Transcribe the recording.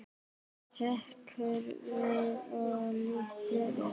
Hrekkur við og lítur upp.